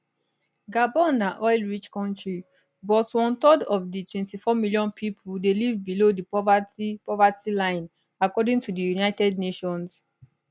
gabon na oilrich kontri but one third of di 24 million pipo dey live below di poverty poverty line according to di united nations